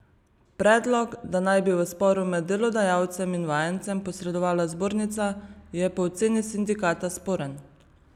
Predlog, da naj bi v sporu med delodajalcem in vajencem posredovala zbornica, je po oceni sindikata sporen.